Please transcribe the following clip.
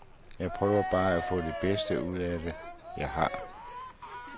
Jeg prøver bare at få det bedste ud af det, jeg har.